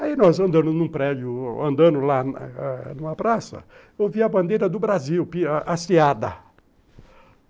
Aí nós andando num prédio, andando lá numa praça, eu vi a bandeira do Brasil, a hasteada